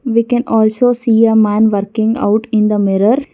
we can also see a man working out in the mirror.